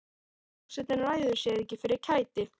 Forsetinn ræður sér ekki fyrir kæti.